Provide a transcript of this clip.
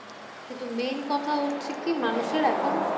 কিন্তু main কথা হচ্ছে কি মানুষের এখন